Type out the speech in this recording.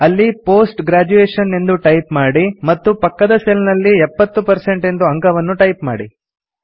ಅಲ್ಲಿ post graduation ಎಂದು type ಮಾಡಿ ಮತ್ತು ಪಕ್ಕದ ಸೆಲ್ ನಲ್ಲಿ 70 ಎಂದು ಅಂಕವನ್ನು ಟೈಪ್ ಮಾಡಿ